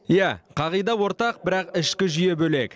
иә қағида ортақ бірақ ішкі жүйе бөлек